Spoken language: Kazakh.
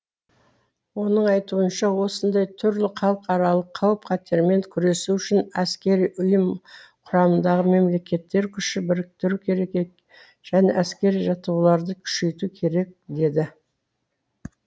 оның айтуынша осындай түрлі халықаралық қауіп қатермен күресу үшін әскери ұйым құрамындағы мемлекеттер күш біріктіруі керек және әскери жаттығуларды күшейту керек деді